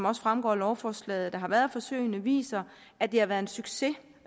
også fremgår af lovforslaget der har været af forsøgene viser at det har været en succes